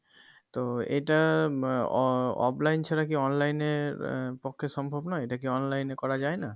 তো এটা আহ আহ offline ছাড়া কি online এ আহ পক্ষে সম্ভব নয় এটা কি online এ করা যায় না?